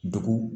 Dugu